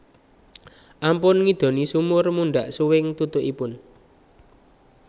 Ampun ngidoni sumur mundhak suwing tutukipun